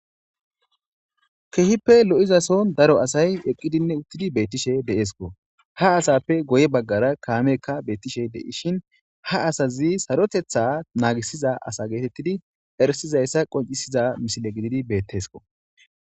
keehippe lo7izason daro asay eqqidinne uttidi beettishe deeskko. Ha asaappe goye baggara kaamekka beettishe de7ishin ha asazi sarotetha naagisiza asa geetettidi ersizayssa qoncisiza misile gididi beetteskko.